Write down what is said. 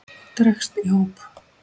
og dregst í hóp